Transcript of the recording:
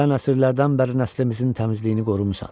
sən əsrlərdən bəri nəslimizin təmizliyini qorumusan.